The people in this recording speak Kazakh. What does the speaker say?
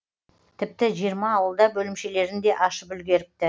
тіпті жиырма ауылда бөлімшелерін де ашып үлгеріпті